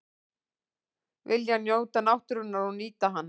Vilja njóta náttúrunnar og nýta hana